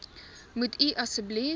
moet u asseblief